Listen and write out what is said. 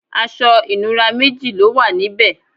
aṣọ ìnura méji lówà níbe